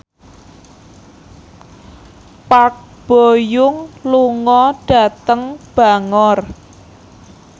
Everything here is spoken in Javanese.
Park Bo Yung lunga dhateng Bangor